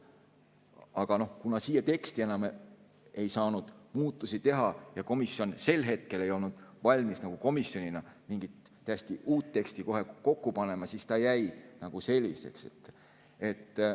Aga kuna siia teksti enam ei saanud muudatusi teha ja komisjon sel hetkel ei olnud valmis komisjonina mingit täiesti uut teksti kohe kokku panema, siis see jäi selliseks.